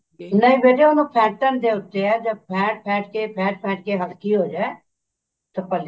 ਨਹੀਂ ਬੇਟੇ ਉਹਨੂੰ ਫੇਟਣ ਦੇ ਉੱਤੇ ਹੈ ਫੇਂਟ ਫੇਂਟ ਕੇ ਫੇਂਟ ਫੇਂਟ ਹਲਕੀ ਹੋਜੇ ਭੱਲੇ